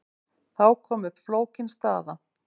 Þá kom upp flókin staða.